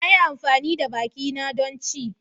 Na yi amfani da bakina don ci.